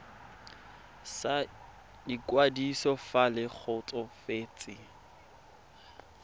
sa ikwadiso fa le kgotsofetse